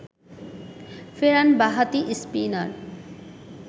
ফেরান বাঁহাতি স্পিনার